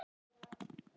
Ég vildi ekki gera það.